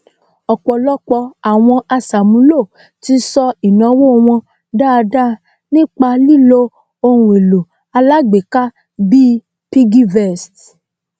ọpọlọpọ àwọn aṣàmúlò ti sọ ìnawó wọn dáadáa nípa lilo ohunèlò alágbéka bíi piggyvest